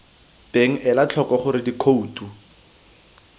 teng ela tlhoko gore dikhouto